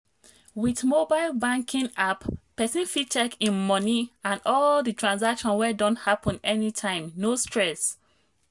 with mobile banking app person fit check im money and all the transaction wey don happen anytime no stress.